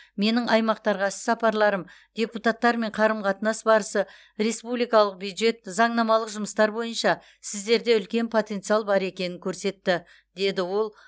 менің аймақтарға іс сапарларым депутаттармен қарым қатынас барысы республикалық бюджет заңнамалық жұмыстар бойынша сіздерде үлкен потенциал бар екенін көрсетті деді ол